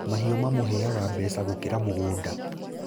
Mahiũ mamũheaga mbeca gũkĩra mũgũnda